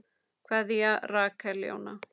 Kveðja, Rakel Jóna.